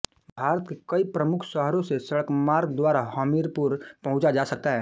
भारत के कई प्रमुख शहरों से सड़कमार्ग द्वारा हमीरपुर पहुंचा जा सकता है